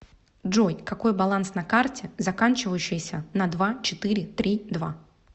джой какой баланс на карте заканчивающейся на два четыре три два